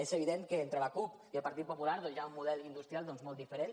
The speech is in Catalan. és evident que entre la cup i el partit popular doncs hi ha un model industrial molt diferent